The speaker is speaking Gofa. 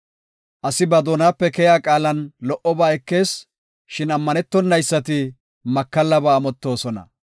Asi ba doonape keyiya qaalan lo77oba ekees; shin ammanetonaysati makallaba amottoosona.